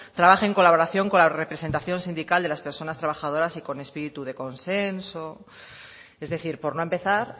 trabaje en colaboración con la representación sindical de las personas trabajadoras y con espíritu de consenso es decir por no empezar